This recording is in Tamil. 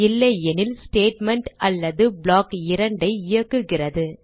இல்லையெனில் ஸ்டேட்மெண்ட் அல்லது ப்ளாக் 2 ஐ இயக்குகிறது